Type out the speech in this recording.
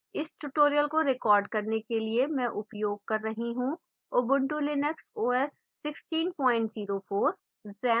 इस tutorial का record करने के लिए मैं उपयोग कर रही हूँ: